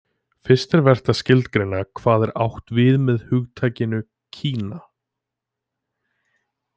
Fyrst er vert að skilgreina hvað átt er við með hugtakinu Kína.